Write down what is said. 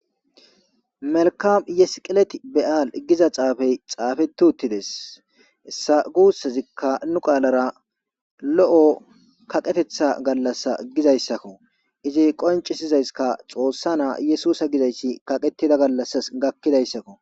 Melkam ye siqilet be7al giza xaafee xaafeththi uththi des; hessa guusazikka nu qaalara lo7o kaqetheththaa galassaa gizzayssakko;izii qonccissizayska xoossaa na7aa yesuusa gizayssi kaqeththida gallasas gakkidayssakko.